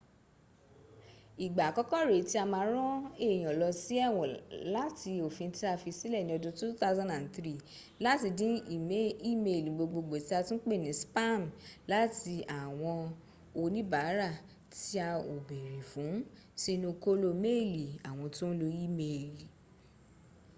igba akọkọ ree ti a ma ran eyan lọ si ẹwọn lati ofin ti a fi silẹ ni ọdun 2003 lati din imeeli gbogbogbo ti a tun pe ni spaami lati awọn onibaara ti a o beere fun si inu kolo meeli awọn to n lo imeeli